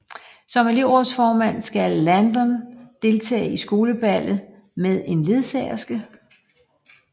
Som elevrådsformand skal Landon deltage i skoleballet med en ledsagerske